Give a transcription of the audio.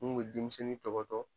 Mun be denmisɛnnin tɔgɔtɔ.